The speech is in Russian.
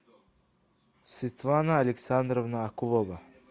светлана александровна акулова